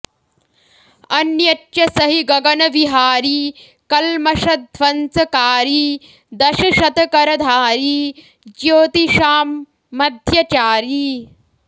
अन्यच्च स हि गगनविहारी कल्मषध्वंसकारी दशशतकरधारी ज्योतिषां मध्यचारी